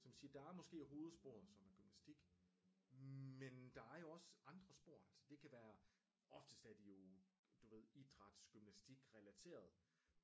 Så man siger der er måske hovedsporet som er gymnastik men der er jo også andre spor altså det kan være oftest er det jo du ved idrætsgymnastikrelateret